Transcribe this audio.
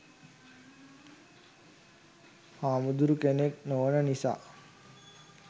හාමුදුරු කෙනෙක් නොවන නිසා